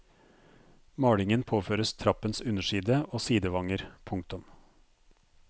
Malingen påføres trappens underside og sidevanger. punktum